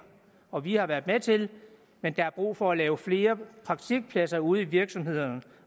og vi har været med til men der er brug for at lave flere praktikpladser ude i virksomhederne